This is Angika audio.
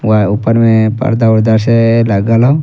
वा ऊपर में पर्दा-उर्दा से लागल हो।